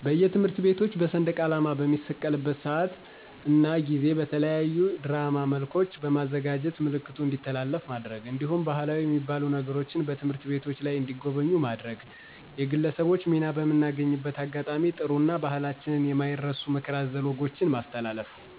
በየትምህርት ቤቶች በሰንደቃላማ በሚሰቀልበት ስአት እና ጊዜ በተለያዩ ድራማ መልኮች በማዘጋጀት ምልክቱ እንዲተላለፍ ማድረግ። እንዲሁም ባህላዊ የሚባሉ ነገሮችን በትምህርት ቤቶች ላይ እንዲጎበኙ ማድረግ ማድረግ። የግለሰቦች ሚና በምናገኝበት አጋጣሚ ጥሩ እና በህላችን የማይረሱ ምክረ አዘል ወጎችን ማስተላለፍ